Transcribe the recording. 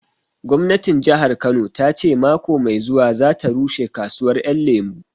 Gwamnatin Jahar Kano ta ce mako mai zuwa za ta rushe kasuwar Ƴan Lemu